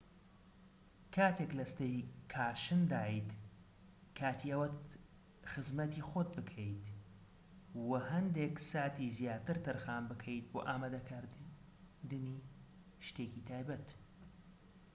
کاتێک لە ستەیکاشندایت کاتی ئەوەت خزمەتی خۆت بکەیت و هەندێک ساتی زیاتر تەرخان بکەیت بۆ ئامادەکردنی شتێکی تایبەت